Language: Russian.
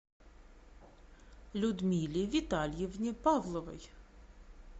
людмиле витальевне павловой